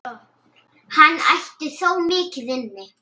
Hann ætti þó mikið inni.